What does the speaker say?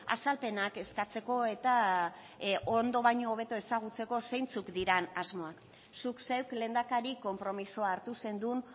azalpenak eskatzeko eta ondo baino hobeto ezagutzeko zeintzuk diren asmoak zuk zeuk lehendakari konpromisoa hartu zenuen